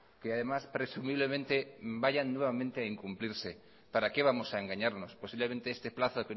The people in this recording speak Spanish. que además presumiblemente vayan nuevamente a incumplirse para qué vamos a engañarnos posiblemente este plazo